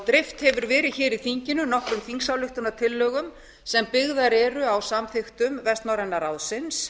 dreift hefur verið hér i þinginu nokkrum þingsályktunartillögum sem byggðar eru á samþykktum vestnorræna ráðsins